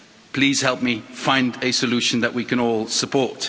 Please help me find a solution that we can all support.